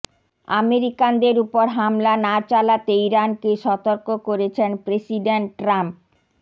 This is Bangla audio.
আমেরিকানদের উপর হামলা না চালাতে ইরানকে সতর্ক করেছেন প্রেসিডেন্ট ট্রাম্প